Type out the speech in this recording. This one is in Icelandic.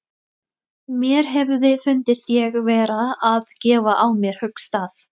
Mér hefði fundist ég vera að gefa á mér höggstað.